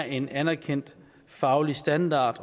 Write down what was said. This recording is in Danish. en anerkendt faglig standard